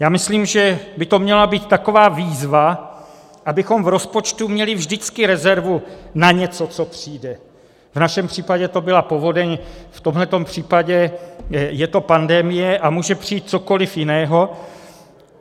Já myslím, že by to měla být taková výzva, abychom v rozpočtu měli vždycky rezervu na něco, co přijde - v našem případě to byla povodeň, v tomhle případě je to pandemie a může přijít cokoliv jiného.